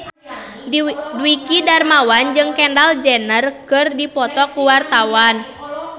Dwiki Darmawan jeung Kendall Jenner keur dipoto ku wartawan